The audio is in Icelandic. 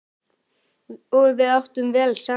Og við áttum vel saman.